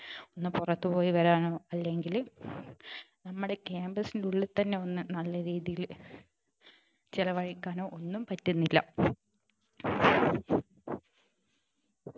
ഒന്ന് പുറത്തു പോയി വരാനോ അല്ലെങ്കിൽ നമ്മുടെ campus നുള്ളിൽ തന്നെ ഒന്ന് നല്ല രീതിയിൽ ചിലവഴിക്കാനോ ഒന്നും പറ്റുന്നില്ല